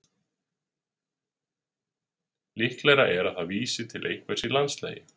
líklegra er að það vísi til einhvers í landslagi